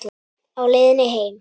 Á leiðinni heim?